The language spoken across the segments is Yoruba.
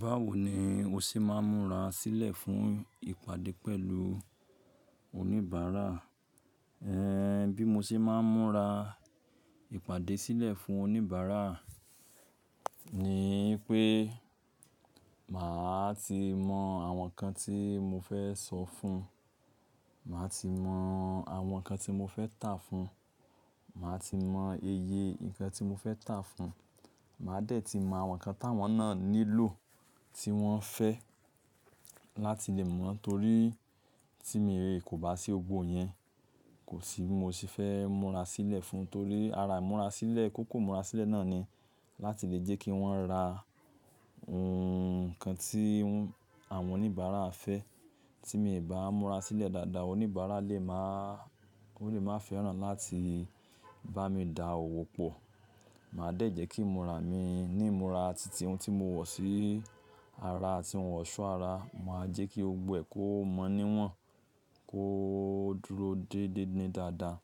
Báwo ni o ṣé máa ń múra sílẹ̀ fún ìpàdé pẹ̀lú oníbàárà? Bí mo ṣe máa ń múra ìpàdé sílẹ̀ fún oníbàárà ni wipé màá ti mọ àwọn nǹkan tí mo fẹ́ sọ fún, màá ti mọ àwọn nǹkan tí mo fẹ́ tà fún, màá ti mọ iye nǹkan tí mo fẹ́ tà fún, màá dẹ̀ ti mọ àwọn nǹkan táwọn náà nílò, tí wọ́n fẹ́ láti lè mọ̀. Nítorí tí mi rí i kò bá sí gbogbọ́ iyẹn, kò sibì mó ṣé fẹ́ múra sílẹ̀ fún, torí ara ìmúrasílẹ̀ kókó ìmúrasílẹ̀ náà ni láti lè jẹ́ kí wọ́n ra nǹkan tí àwọn oníbàárà fẹ́. Tí mi ì bá múra sílẹ̀ dáadáa, oníbàárà lè máa, ó lè máa fẹ́ràn láti bá mi dà òwò pọ̀. Màá dẹ̀ jẹ́ kí ìmúra mi ní ìmúra titi, ohun tí mo wọ̀ sí ara àti ohun ọ̀ṣọ́ ara, màá jẹ́ kí gbogbo ẹ̀ kó mọ́ níwọ̀n, kó dúró dé dédé dáadáa.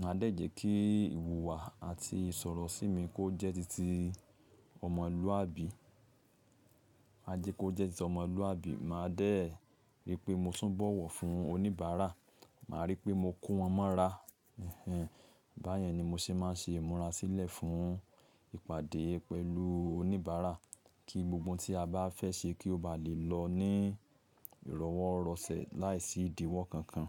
Màá dẹ̀ jẹ́ kí ìhùwà àti ìsọ̀rọ̀ sí mi kó jẹ́ títí ọmọlúwàbí, máa jẹ́ kó jẹ́ títí ọmọlúwàbí. Màá dẹ̀ rí pé mo tún bọ̀wọ̀ fún oníbàárà, màá rí pé mo kó wọn mọ́ra. Ehen, báyẹn ni mo ṣe máa ń ṣe ìmúrasílẹ̀ fún ìpàdé pẹ̀lú oníbàárà kí gbogbo oun tí a bá fẹ́ ṣe kó bá lè lọ ní ìrọ̀wọ́ rọ̀sẹ̀ láìsí ìdíwọ́ kankan.